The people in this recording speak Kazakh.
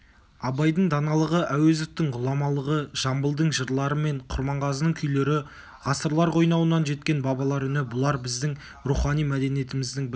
абайдың даналығы әуезовтің ғұламалығы жамбылдың жырлары мен құрманғазының күйлері ғасырлар қойнауынан жеткен бабалар үні бұлар біздің рухани мәдениетіміздің бір